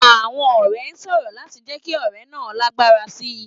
Àwọn ọ̀rẹ́ ń sọ̀rọ̀ láti jẹ́ kí ọ̀rẹ́ náà lágbára sí i.